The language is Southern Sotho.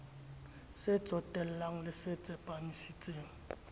se tsotellang le se tsepamisitseng